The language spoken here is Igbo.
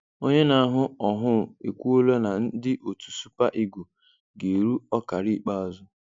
Onye na-ahụ ọhụ ekwuola na ndị otu super Eagle ga-eru ọkara ikpeazụ